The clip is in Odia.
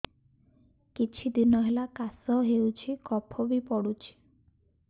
କିଛି ଦିନହେଲା କାଶ ହେଉଛି କଫ ବି ପଡୁଛି